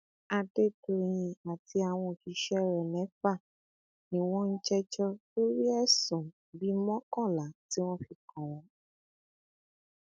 adédọyìn àti àwọn òṣìṣẹ rẹ mẹfà ni wọn ń jẹjọ lórí ẹsùn bíi mọkànlá tí wọn fi kàn wọn